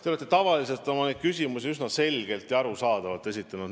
Te olete tavaliselt oma küsimusi üsna selgelt ja arusaadavalt esitanud.